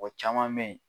Mɔgɔ caman bɛ ye